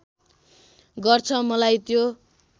गर्छ मलाई त्यो